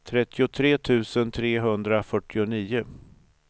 trettiotre tusen trehundrafyrtionio